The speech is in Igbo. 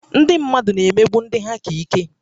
Ndị mmadụ na-emegbu ndị ha ka ike